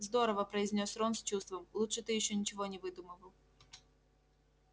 здорово произнёс рон с чувством лучше ты ещё ничего не выдумывал